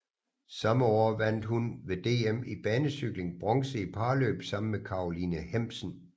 Samme år vandt hun ved DM i banecykling bronze i parløb sammen med Karoline Hemmsen